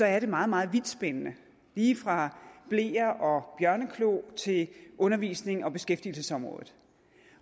er det meget meget vidtspændende lige fra bleer og bjørneklo til undervisnings og beskæftigelsesområdet